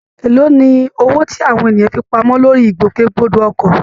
Èló ni owó tí àwọn ènìyàn fi pamọ́ lórí ìgbòkègbodò ọkọ̀?